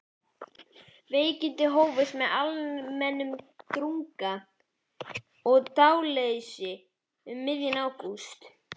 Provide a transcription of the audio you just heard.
Veikindin hófust með almennum drunga og dáðleysi um miðjan ágúst.